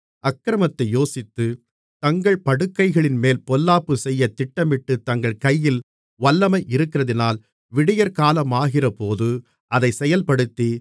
அக்கிரமத்தை யோசித்து தங்கள் படுக்கைகளின்மேல் பொல்லாப்பு செய்ய திட்டமிட்டுத் தங்கள் கையில் வல்லமை இருக்கிறதினால் விடியற்காலமாகிறபோது அதைச் செயல்படுத்தி